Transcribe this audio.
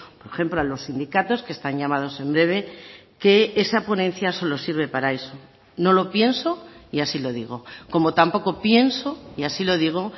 por ejemplo a los sindicatos que están llamados en breve que esa ponencia solo sirve para eso no lo pienso y así lo digo como tampoco pienso y así lo digo